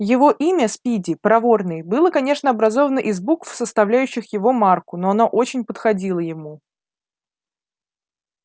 его имя спиди проворный было конечно образовано из букв составлявших его марку но оно очень подходило ему